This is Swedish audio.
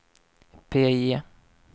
PIE